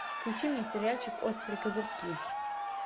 включи мне сериальчик острые козырьки